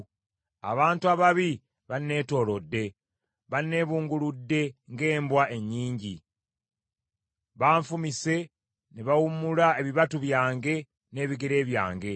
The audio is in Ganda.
Abantu ababi banneetoolodde; banneebunguludde ng’embwa ennyingi; banfumise ne bawummula ebibatu byange n’ebigere byange.